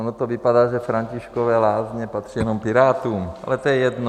Ono to vypadá, že Františkovy Lázně patří jenom Pirátům, ale to je jedno.